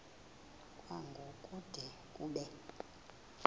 kwango kude kube